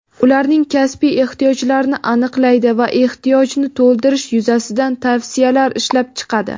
ularning kasbiy ehtiyojlarini aniqlaydi va ehtiyojni to‘ldirish yuzasidan tavsiyalar ishlab chiqadi;.